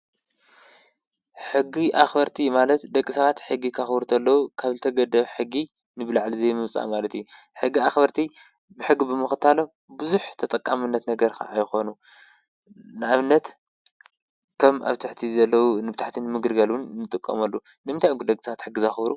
ሕጊ ኣክበርቲ ማለት ደቂ ሰባት ሕጊ ከክብሩ እንከለዉ ካብ ዝተገደበ ሕጊንላዕሊ ዘይምውፃእ ማለት እዩ። ሕጊ ኣክበርቲ ሕጊ ብምክታሎም ብዙሕ ተጠቃምነት ነገር ከዓ ይኮኑ። ንኣብነት ከም ኣብ ትሕቲ ዘለዉ ኣብ ታሕቲ ንምግልጋል እዉን ይጥቀመሉ። ንምንታይ እዮም ግን ደቂ ሰባት ሕጊ ዘክብሩ?